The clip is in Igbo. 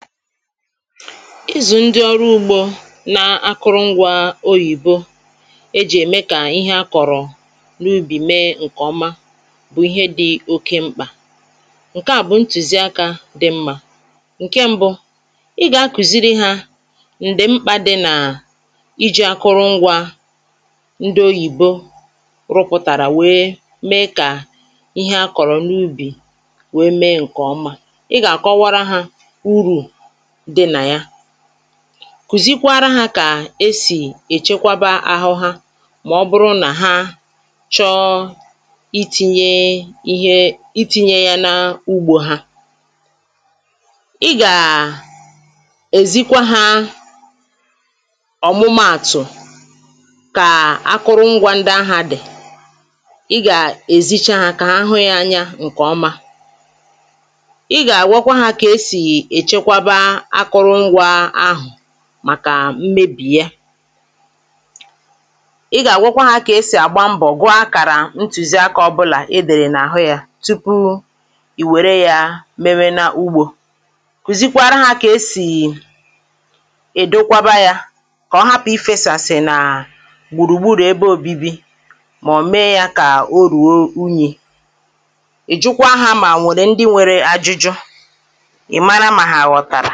izù ndị ọrụ ugbȯ na akụrụngwa oyìbo e jì ème kà ihe akọ̀rọ̀ n’ubì mee ǹkè ọma bụ̀ ihe dị̇ oke mkpà ǹke à bụ̀ ntùzi akȧ dị mmȧ ǹke ṁbụ̇ ị gà-akùziri hȧ ǹdi mkpà dị nà iji̇ akụrụngwȧ ndị oyìbo rụpụtàrà wèe mee kà ihe akọ̀rọ̀ n’ubì wèe mee ǹkè ọma I ga akowara ha uru dị na ya kùzikwara ha kà esì èchekwaba ahụ ha mà ọ bụrụ nà ha chọọ um iti̇nyė ihe iti̇nyė ya n’ugbȯ ha ị gàà èzikwa ha ọ̀mụmaàtụ̀ kà akụrụngwȧ ndị ahụ̀ a dì ị gà èzicha hȧ kà ahụ yȧ anya ǹkè ọma I ga agwakwa ha ka esi echekwaba akụrụngwa ahụ̀ màkà mmebì ya[paues] ị gà-àgwụkwa ha kà esì àgba mbọ̀ gwaà kàrà ntùziakȧ ọbụlà i dèrè n’àhụ yȧ tupu ì wère yȧ mewe nȧ ugbȯ kùzikwara ha kà esì [paues] Edokwaba yȧ kà ọhapụ̀ ifėsàsị̀ nà gbùrùgburù ebe òbibi mà ọ̀ mee yȧ kà oruo unyì ì jukwa ha mà nwèrè ndị nwere ajụjụ ị̀ mara mà ha ghọ̀tàrà